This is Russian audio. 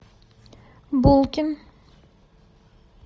булкин